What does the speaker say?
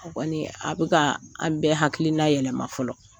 A kɔni a bɛ ka an bɛɛ hakilina yɛlɛma fɔlɔ,